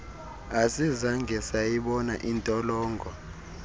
asizange sayibona intolongo